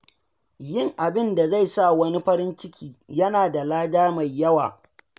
Yin abin da zai sa wani farin ciki yana da lada mai yawa.